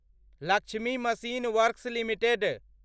Lakshmi machine works limited